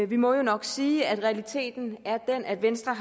vi må jo nok sige at realiteten er den at venstre